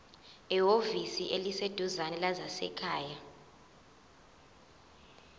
ehhovisi eliseduzane lezasekhaya